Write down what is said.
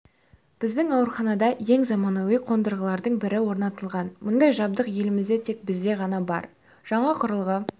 біздің ауруханада ең заманауи қондырғылардың бірі орнатылған мұндай жабдық елімізде тек бізде ғана бар жаңа құрылғы